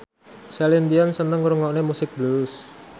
Celine Dion seneng ngrungokne musik blues